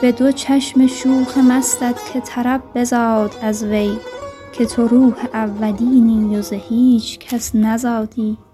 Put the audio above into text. به دو چشم شوخ مستت که طرب بزاد از وی که تو روح اولینی و ز هیچ کس نزادی